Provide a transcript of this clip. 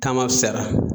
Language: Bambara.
Taamasara